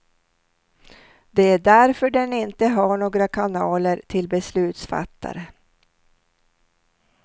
Det är därför den inte har några kanaler till beslutsfattare.